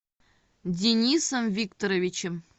денисом викторовичем